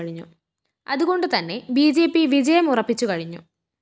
അതുകൊണ്ട് തന്നെ B J P വിജയം ഉറപ്പിച്ചുകഴിഞ്ഞു